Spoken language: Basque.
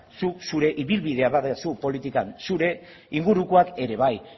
zuk zure ibilbidea baduzu politikan zure ingurukoak ere bai